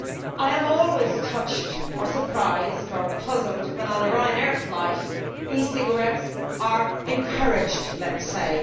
I am always touched or surprised or puzzled when on the Ryanair flight e cigarettes are encouraged', let us say.